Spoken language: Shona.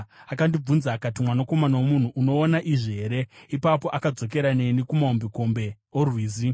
Akandibvunza akati, “Mwanakomana womunhu, unoona izvi here?” Ipapo akadzokera neni kumahombekombe orwizi.